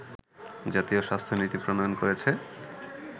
জাতীয় স্বাস্থ্য নীতি প্রণয়ন করেছে